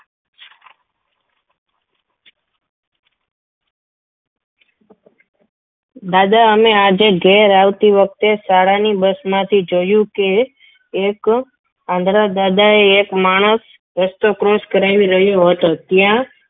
દાદા અમે આજે ઘેર આવતી વખતે શાળાની bus માંથી જોયું કે એક આંધળા દાદાએ એક માણસ રસ્તો cross કરાવી રહ્યો હતો. ત્યાં